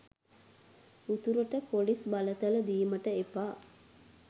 උතුරට පොලිස් බලතල දීමට එපා